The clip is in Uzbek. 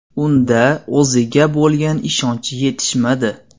Unda o‘ziga bo‘lgan ishonch yetishmadi.